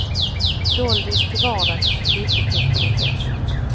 Doldis till vardags, skyttekung till fest.